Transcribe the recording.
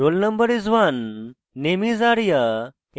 roll no is: 1 name is: arya এবং